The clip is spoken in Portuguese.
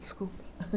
Desculpa.